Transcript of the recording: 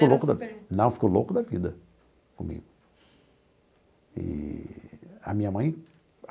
Não, ficou louco da vida comigo eee a minha mãe.